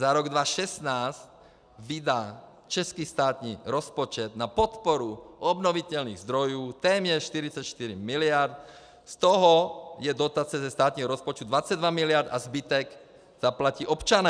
Za rok 2016 vydá český státní rozpočet na podporu obnovitelných zdrojů téměř 44 miliard, z toho je dotace ze státního rozpočtu 22 miliard a zbytek zaplatí občané.